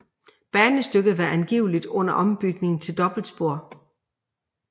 Banestykket var angiveligt under ombygning til dobbeltspor